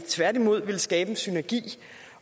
tværtimod ville skabe en synergi